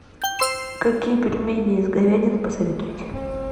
какие пельмени из говядины посоветуете